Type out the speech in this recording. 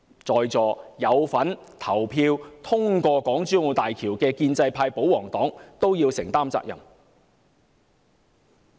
在座有份投票通過港珠澳大橋的建制派、保皇黨也要承擔責任。